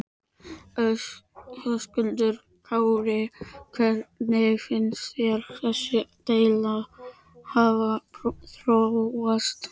Höskuldur Kári: Hvernig finnst þér þessi deila hafa þróast?